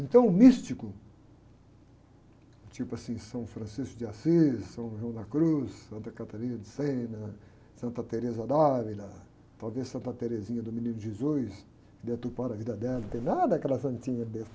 Então, o místico, tipo assim, São Francisco de Assis, São João da Cruz, Santa Catarina de Sena, Santa Teresa d'Ávila, talvez Santa Teresinha do Menino Jesus, que deturparam a vida dela, não tem nada daquela santinha besta.